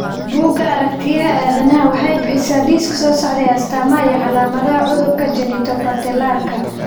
Bugga Aaragtiyaha Aadanaha waxay bixisaa liiska soo socda ee astamaha iyo calaamadaha cudurka Genitopatellarka.